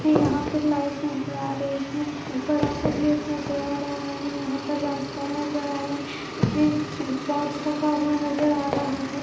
यहां पे लाइट नजर आ रही है बड़ा सा गेट नजर आ रहा है यहां पर रास्ता नजर आ रहा है पॉट्स रखा हुआ नजर आ रहा है।